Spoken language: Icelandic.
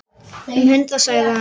Um hundrað sagði hann.